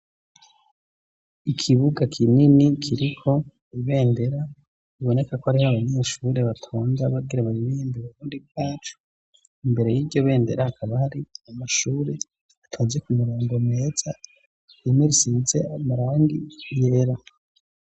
Ikibuga kinini kiriko ibendera biboneka ko ariho abanyeshuri batonda bagira baririmbe Burundi bwacu, imbere y'iryo bendera hakaba hari amashuri atonze ku mirongo meza imwe isize amarangi yera.